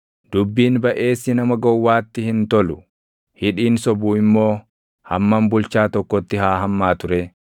Dubbiin baʼeessi nama gowwaatti hin tolu; hidhiin sobu immoo hammam bulchaa tokkotti haa hammaatu ree!